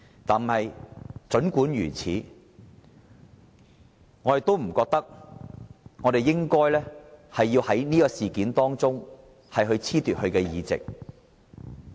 但儘管如此，我們不認為我們應該因此事而褫奪他的議席。